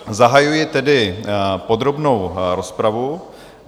Zahajuji tedy podrobnou rozpravu.